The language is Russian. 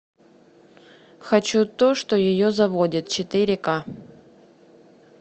хочу то что ее заводит четыре ка